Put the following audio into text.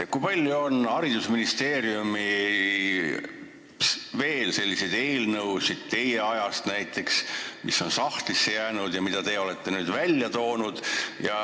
Kui palju on haridusministeeriumis näiteks teie ajast sahtlitesse jäänud eelnõusid, mille te olete nüüd välja toonud?